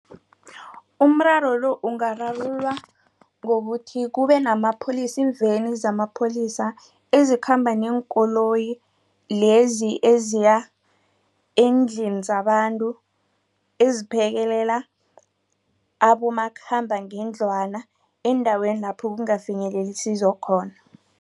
Umraro lo ungararululwa ngokuthi kubenamapholisa iimveni zamapholisa ezikhamba neenkoloyi lezi eziya eendlini zabantu eziphekelela abomakhambangendlwana eendaweni lapho kungafinyeleli isizo khona.